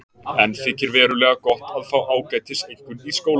Enn þykir verulega gott að fá ágætiseinkunn í skóla.